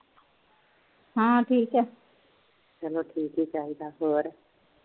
ਚਲੋ ਠੀਕ ਹੀ ਚਾਹੀਦਾ ਹੋਰ